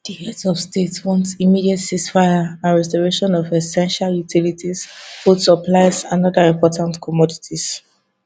di heads of state want immediate ceasefire and restoration of essential utilities food supplies and oda important commodities